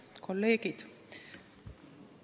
Head kolleegid!